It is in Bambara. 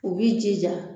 U b'i jija